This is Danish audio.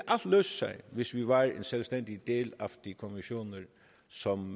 løse sig hvis vi var en selvstændig del af de konventioner som